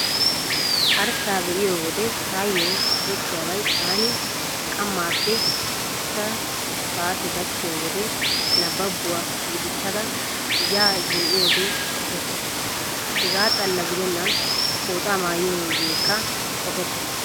Arssaa be'iyo wode taayyo qopettiyaabay taani qammaappe ichchawu saate gaakkiyo wode nabbabuwaa gidissada ya zin"iyoogee qopettees. Hegaa xalla gidennan pooxaa maayiyoogeekka qopettees.